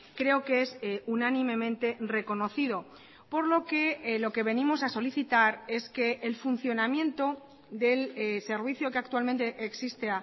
creo que es unánimemente reconocido por lo que lo que venimos a solicitar es que el funcionamiento del servicio que actualmente existe